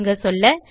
சுருங்க சொல்ல